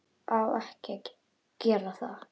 Á ekki að gera það.